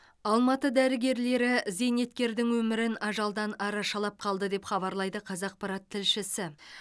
алматы дәрігерлері зейнеткердің өмірін ажалдан арашалап қалды деп хабарлайды қазақпарат тілшісі